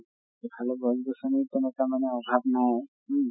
এইফালে গছ গছ্নিৰো তেনকা মানে অভাৱ নাই উম